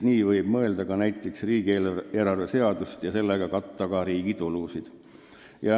Muidu võib mõelda ka näiteks riigieelarve seadust ja katta selle abil riigi kulusid.